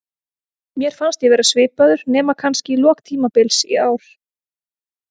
Mér fannst ég vera svipaður, nema kannski í lok tímabils í ár.